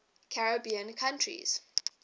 caribbean countries